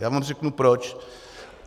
Já vám řeknu, proč.